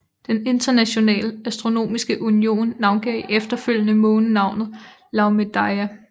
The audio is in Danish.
Den Internationale Astronomiske Union navngav efterfølgende månen navnet Laomedeia